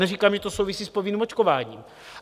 Neříkám, že to souvisí s povinným očkováním.